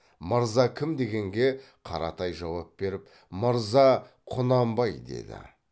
мырза кім дегенге қаратай жауап беріп мырза құнанбай деді